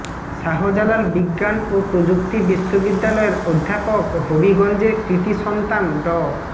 শাহজালাল বিজ্ঞান ও প্রযুক্তি বিশ্ববিদ্যালয়ের অধ্যাপক হবিগঞ্জের কৃতি সন্তান ড